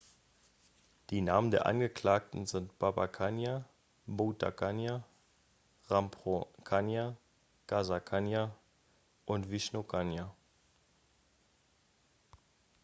die namen der angeklagten sind baba kanjar bhutha kanja rampro kanjar gaza kanjar und vishnu kanjar